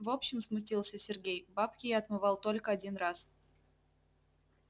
в общем смутился сергей бабки я отмывал только один раз